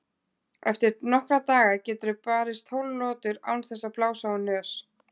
Eftir nokkra daga geturðu barist tólf lotur án þess að blása úr nös.